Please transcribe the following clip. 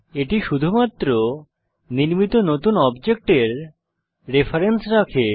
এটি শুধুমাত্র নির্মিত নতুন অবজেক্টের রেফারেন্স রাখে